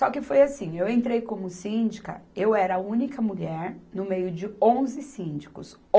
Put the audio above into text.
Só que foi assim, eu entrei como síndica, eu era a única mulher no meio de onze síndicos.